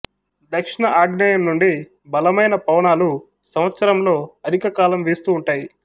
దక్షిణ ఆగ్నేయం నుండి బలమైన పవనాలు సంవత్సరంలో అధికకాలం వీస్తూ ఉంటాయి